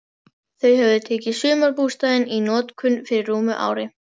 Þau höfðu tekið sumarbústaðinn í notkun fyrir rúmu ári.